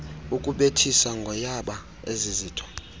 ukubethisa ngoyaba ezizinto